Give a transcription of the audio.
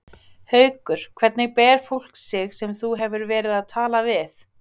Haukur: Hvernig ber fólk sig sem þú hefur verið að tala við?